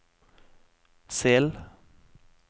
Sel